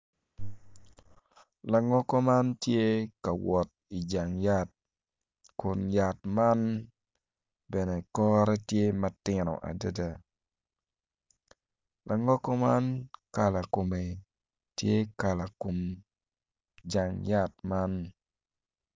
Langogo man tye ka wot ijang yat kun jang yat man bene kore tye matino adada langogo man kala kome tye kala kom jang yat man.